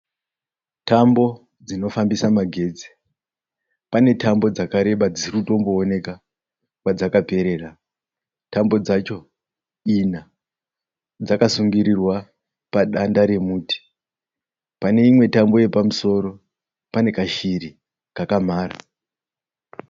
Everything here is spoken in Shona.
Tambo dzinofambisa magetsi, panetambo dzakareba dzisirikuoneka kwadzakaperera, tambo dzacho ina dzakasungirirwa pamusoro padanda remuti, paneimwe tambo yepamusoro panekashiri kakamhara.